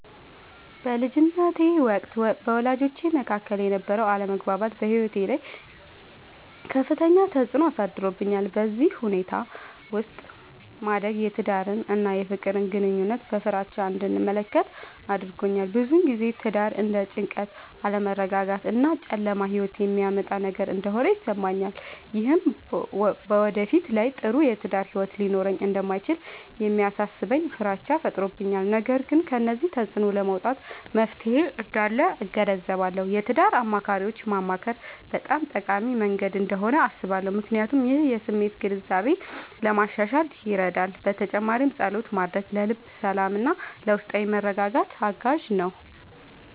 በልጅነቴ ወቅት በወላጆቼ መካከል የነበረ አለመግባባት በሕይወቴ ላይ ከፍተኛ ተፅዕኖ አሳድሮብኛል። በዚህ ሁኔታ ውስጥ ማደግ የትዳርን እና የፍቅር ግንኙነትን በፍራቻ እንድመለከት አድርጎኛል። ብዙ ጊዜ ትዳር እንደ ጭንቀት፣ አለመረጋጋት እና ጨለማ ሕይወት የሚያመጣ ነገር እንደሆነ ይሰማኛል። ይህም በወደፊት ላይ ጥሩ የትዳር ሕይወት ሊኖረኝ እንደማይችል የሚያሳስበኝ ፍራቻ ፈጥሮብኛል። ነገር ግን ከዚህ ተፅዕኖ ለመውጣት መፍትሔ እንዳለ እገነዘባለሁ። የትዳር አማካሪዎችን ማማከር በጣም ጠቃሚ መንገድ እንደሆነ አስባለሁ፣ ምክንያቱም ይህ የስሜት ግንዛቤን ለማሻሻል ይረዳል። በተጨማሪም ፀሎት ማድረግ ለልብ ሰላምና ለውስጣዊ መረጋጋት አጋዥ ነው።